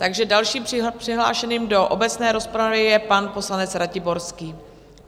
Takže dalším přihlášeným do obecné rozpravy je pan poslanec Ratiborský.